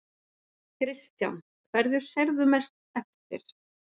Kristján: Hverju sérðu mest eftir?